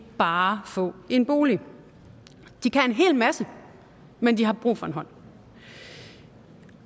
bare få en bolig de kan en hel masse men de har brug for en hånd